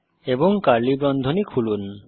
এবং কার্লি বন্ধনী খুলুন